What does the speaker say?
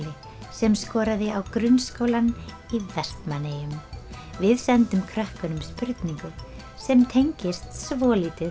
sem skoraði á Grunnskólann í Vestmannaeyjum við sendum krökkunum spurningu sem tengist svolítið